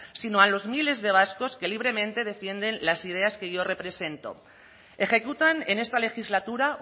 sino a los miles de vascos que libremente defienden las ideas que yo represento ejecutan en esta legislatura